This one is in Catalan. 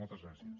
moltes gràcies